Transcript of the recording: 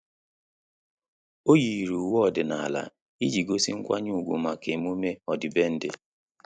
Ọ́ yìrì uwe ọ́dị́nála iji gósí nkwanye ùgwù màkà emume ọ́dị́bèndị̀.